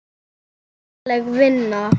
Mannleg vinna